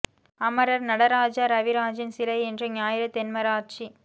அமரர் நடராஜா ரவிராஜின் சிலை இன்று ஞாயிறு தென்மராட்ச்